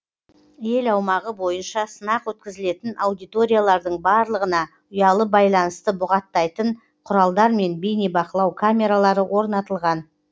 ел аумағы бойынша сынақ өткізілетін аудиториялардың барлығына ұялы байланысты бұғаттайтын құралдар мен бейнебақылау камералары орнатылған